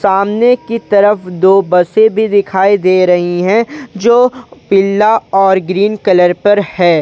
सामने की तरफ दो बसें भी दिखाई दे रही हैं जो पीला और ग्रीन कलर पर है।